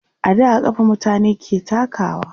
a da a kafa mutane ke takawa